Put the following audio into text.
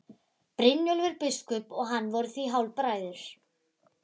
Brynjólfur biskup og hann voru því hálfbræður.